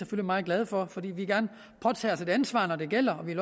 meget glade for fordi vi gerne påtager os et ansvar når det gælder